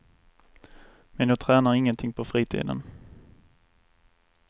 Men jag tränar ingenting på fritiden.